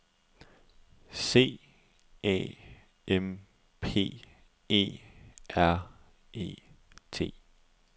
C A M P E R E T